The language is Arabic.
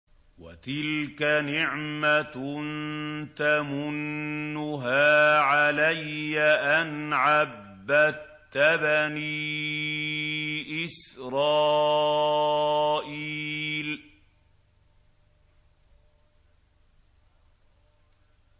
وَتِلْكَ نِعْمَةٌ تَمُنُّهَا عَلَيَّ أَنْ عَبَّدتَّ بَنِي إِسْرَائِيلَ